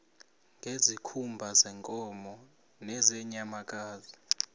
ngezikhumba zeenkomo nezeenyamakazi